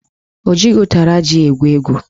Ọ jighị ụtara ji egwu egwu